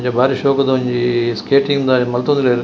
ಅಂಚ ಬಾರಿ ಶೊಕುದ ಒಂಜಿ ಸ್ಕೇಟಿಂಗ್ ದ ಮಂತೊಂದು ಉಲ್ಲೆರ್.